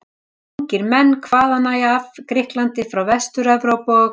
Ungir menn hvaðanæva af Grikklandi, frá Vestur-Evrópu og